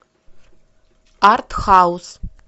арт хаус